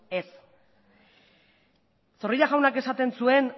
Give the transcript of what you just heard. ez zorrilla jaunak esaten zuen